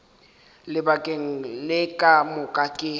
lebakeng le ka moka ke